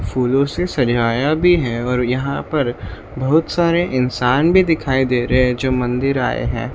फूलों से सजाया भी है और यहां पर बहुत सारे इंसान भी दिखाई दे रहे हैं जो मंदिर आए हैं।